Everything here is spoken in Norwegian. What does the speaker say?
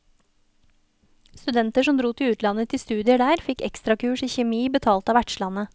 Studenter som dro til utlandet til studier der, fikk ekstrakurs i kjemi, betalt av vertslandet.